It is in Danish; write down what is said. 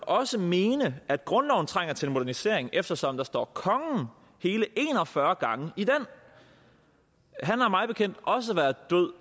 også mene at grundloven trænger til en modernisering eftersom der står kongen hele en og fyrre gange i den han har mig bekendt også været død